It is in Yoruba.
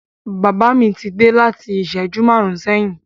Bàbá mi ti dé láti bí ìṣẹ́jú márùn-ún sẹ́yìn.